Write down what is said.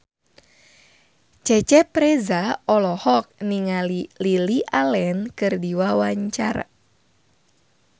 Cecep Reza olohok ningali Lily Allen keur diwawancara